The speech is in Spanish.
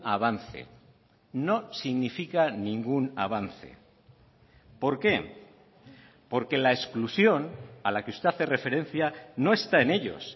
avance no significa ningún avance por qué porque la exclusión a la que usted hace referencia no está en ellos